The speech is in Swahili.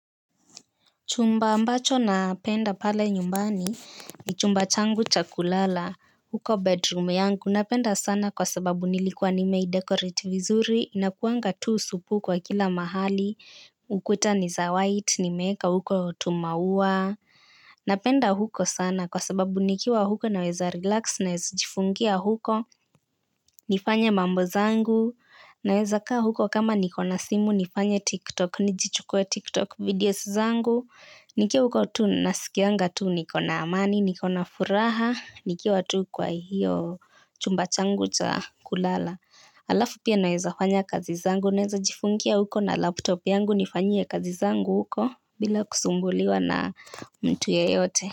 Chumba ambacho napenda pale nyumbani ni chumba changu cha kulala. Huko bedroom yangu napenda sana kwa sababu nilikuwa nimei dekorate vizuri. Inakuanga tu supu kwa kila mahali ukuta niza white ni meeka huko tumauwa. Napenda huko sana kwa sababu nikiwa huko naweza relax naweza jifungia huko. Nifanye mambo zangu. Naweza kaa huko kama niko na simu nifanye tiktok nijichukue tiktok videos zangu. Nikiwa huko tuu nasikianga tuu niko na amani, niko na furaha, nikiwa tuu kwa hiyo chumba changu cha kulala. Alafu pia naweza fanya kazi zangu, naweza jifungia huko na laptop yangu nifanyie kazi zangu huko bila kusumbuliwa na mtu ya yote.